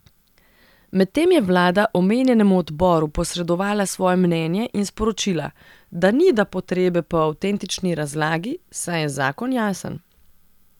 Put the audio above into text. Medtem je vlada omenjenemu odboru posredovala svoje mnenje in sporočila, da ni da potrebe po avtentični razlagi, saj je zakon jasen.